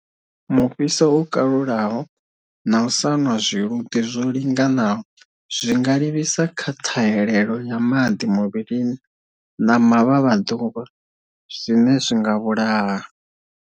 Mufhiso wo kalulaho na u sa nwa zwiluḓi zwo linganaho zwi nga livhisa kha ṱhahelelo ya maḓi muvhilini na mavhavhaḓuvha, zwine zwi nga vhulaha.